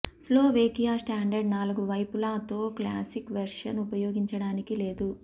Slovakia standard నాలుగు వైపులా తో క్లాసిక్ వెర్షన్ ఉపయోగించడానికి లేదు